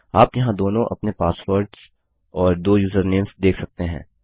आप यहाँ दोनों अपने पासवर्डस और 2 यूजरनेम्स देख सकते हैं